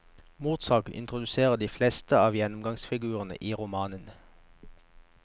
Mordsaken introduserer de fleste av gjennomgangsfigurene i romanen.